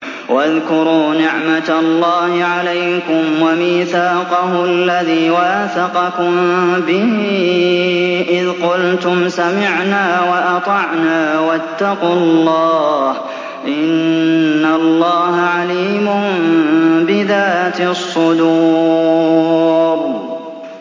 وَاذْكُرُوا نِعْمَةَ اللَّهِ عَلَيْكُمْ وَمِيثَاقَهُ الَّذِي وَاثَقَكُم بِهِ إِذْ قُلْتُمْ سَمِعْنَا وَأَطَعْنَا ۖ وَاتَّقُوا اللَّهَ ۚ إِنَّ اللَّهَ عَلِيمٌ بِذَاتِ الصُّدُورِ